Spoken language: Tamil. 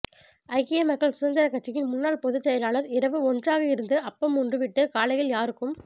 ஐக்கிய மக்கள் சுதந்திர கட்சியின் முன்னாள் பொதுச் செயலாளர் இரவு ஒன்றாக இருந்து அப்பம் உண்டு விட்டு காலையில் யாருக்கும்